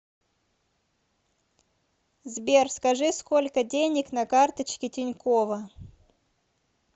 сбер скажи сколько денег на карточке тинькова